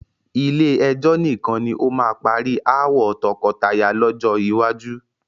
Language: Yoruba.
Ilé ẹjọ́ nìkan ni ó máa ma parí ááwọ̀ tọkọtaya lọ́jọ́ iwájú.